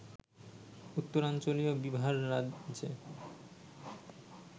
উত্তরাঞ্চলীয় বিহার রাজ্যে